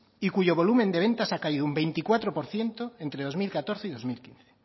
y cuyo volumen de ventas ha caído un veinticuatro por ciento entre dos mil catorce y dos mil quince